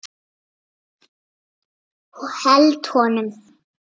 Held honum.